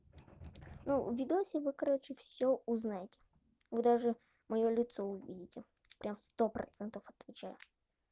ну видосе вы короче всё узнаете вы даже моё лицо увидите прям сто процентов отвечаю